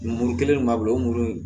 Muru kelen de m'a bila o mɔɔw